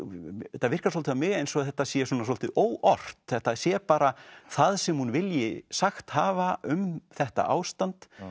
þetta virkar svolítið á mig eins og þetta sé svolítið óort þetta sé bara það sem hún vilji sagt hafa um þetta ástand